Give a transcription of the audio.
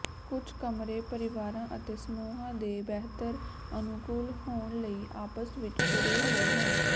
ਕੁੱਝ ਕਮਰੇ ਪਰਿਵਾਰਾਂ ਅਤੇ ਸਮੂਹਾਂ ਦੇ ਬਿਹਤਰ ਅਨੁਕੂਲ ਹੋਣ ਲਈ ਆਪਸ ਵਿੱਚ ਜੁੜੇ ਹੋਏ ਹਨ